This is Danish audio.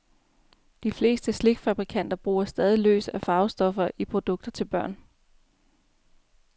De fleste slikfabrikanter bruger stadig løs af farvestoffer i produkter til børn.